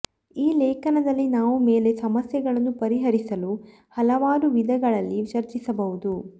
ಈ ಲೇಖನದಲ್ಲಿ ನಾವು ಮೇಲೆ ಸಮಸ್ಯೆಗಳನ್ನು ಪರಿಹರಿಸಲು ಹಲವಾರು ವಿಧಗಳಲ್ಲಿ ಚರ್ಚಿಸಬಹುದು